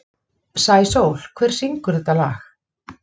Sæsól, hver syngur þetta lag?